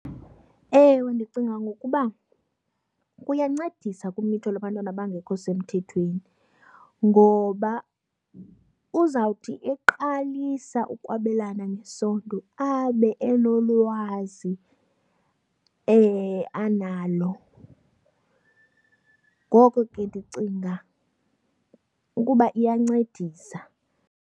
Ewe, ndicinga ngokuba kuyancedisa kumitho lwabantwana abangekho semthethweni ngoba uzawuthi eqalisa ukwabelana ngesondo abe enolwazi analo. Ngoko ke ndicinga ukuba iyancedisa.